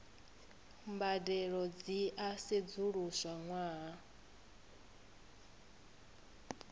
mbadelo dzi a sedzuluswa ṅwaha